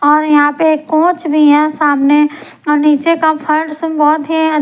और यहां पे कोच भी है सामने और नीचे का फर्स बहुत है--